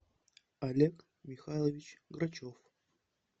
олег михайлович грачев